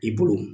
I bolo